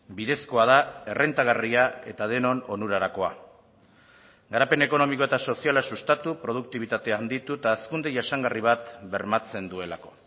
bidezkoa da errentagarria eta denon onurarakoa garapen ekonomiko eta soziala sustatu produktibitatea handitu eta hazkunde jasangarri bat bermatzen duelako